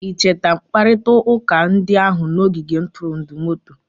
I cheta mkparịta ụka ndị ahụ n'ogige ntụrụndụ moto?